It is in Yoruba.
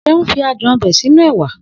Seun fi adùn ọbẹ̀ sínú ẹwà